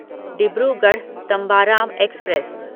Dibrugarh Tambaram express